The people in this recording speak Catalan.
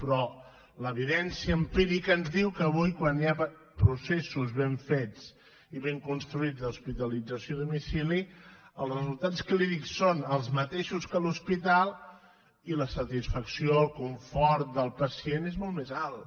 però l’evidència empírica ens diu que avui quan hi ha processos ben fets i ben construïts d’hospitalització a domicili els resultats clínics són els mateixos que a l’hospital i la satisfacció el confort del pacient és molt més alt